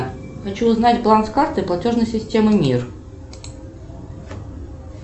хочу узнать баланс карты платежной системы мир